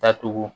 Datugu